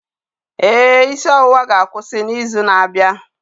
Ee, isi ọwụwa ga-akwụsị n'izu na-abịa.